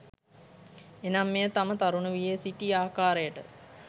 එනම් මෙය තම තරුණ වියේ සිටි ආකාරයට